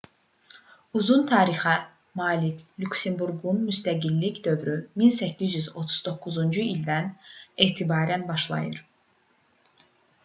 uzun tarixə malik lüksemburqun müstəqillik dövrü 1839-cu ildən etibarən başlayır